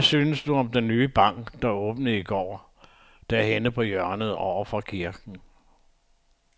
Hvad synes du om den nye bank, der åbnede i går dernede på hjørnet over for kirken?